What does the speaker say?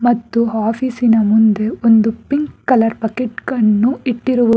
ಮತ್ತು ಆಫೀಸಿನ ಮುಂದೆ ಒಂದು ಪಿಂಕ್ ಕಲರ್ ಪಾಕೆಟ್ ಕಣ್ಣು ಇಟ್ಟಿರುವುದು--